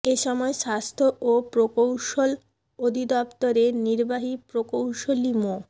এ সময় স্বাস্থ্য ও প্রকৌশল অধিদফতরের নির্বাহী প্রকৌশলী মো